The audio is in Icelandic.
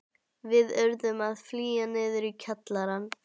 Við urðum því að flýja niður í kjallarann.